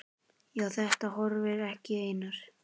Á þetta horfði ég, Einar